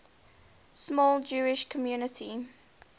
small jewish community